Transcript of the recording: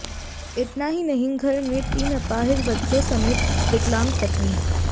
इतना ही नहीं घर में तीन अपाहिज बच्चों समेत विकलांग पत्नी